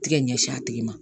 Tigɛ ɲɛsin a tigi ma